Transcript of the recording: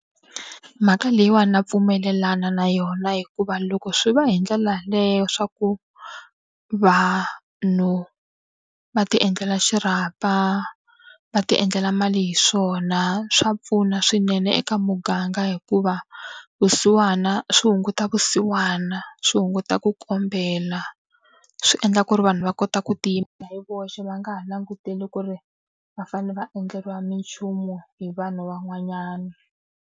Mhaka leyiwani na pfumelelana na yona hikuva loko swi va hi ndlela yaleyo swa ku vanhu va ti endlela xirhapa, va ti endlela mali hi swona, swa pfuna swinene eka muganga hikuva vusiwana swi hunguta vusiwana, swi hunguta ku kombela, swi endla ku ri vanhu va kota ku tiyimela hi voxe va nga ha languteli ku ri va fanele va endleriwa minchumu hi vanhu van'wanyana.